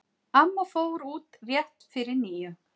Amma fór út rétt fyrir níu.